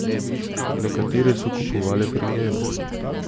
Nekatere so kupovale pri njem.